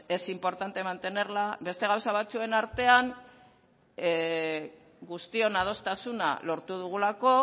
es importante mantenerla beste gauza batzuen artean guztion adostasuna lortu dugulako